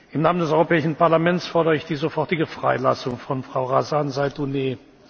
Im Namen des Europäischen Parlaments fordere ich die sofortige Freilassung von Frau Razan Zaitouneh!